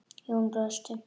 Jón brosti.